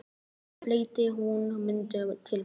Síðan fletti hún myndunum til baka.